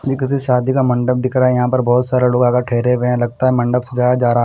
ये किसी शादी का मंडप दिख रहा है यहां पर बहोत सारे लोगा आकर ठहरे हुए है लगता है मंडप सजाया जा रहा--